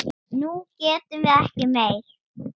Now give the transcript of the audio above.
Nú getum við ekki meir.